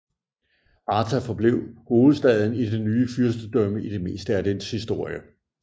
Arta forblev hovedstaden i det nye fyrstedømme i det meste af dets historie